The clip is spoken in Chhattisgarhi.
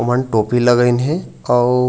ओमन टोपी लगइन हे आऊ--